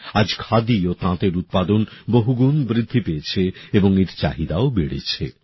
আজ খাদি ও তাঁতের উৎপাদন বহুগুণ বৃদ্ধি পেয়েছে এবং এর চাহিদাও বেড়েছে